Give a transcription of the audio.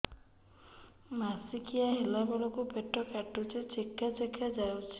ମାସିକିଆ ହେଲା ବେଳକୁ ପେଟ କାଟୁଚି ଚେକା ଚେକା ଯାଉଚି